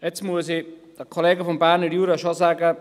Jetzt muss ich den Kollegen vom Berner Jura schon sagen: